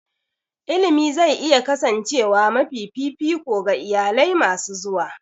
Ilimi zai iya kasancewa mafi fifiko ga iyalai masu zuwa.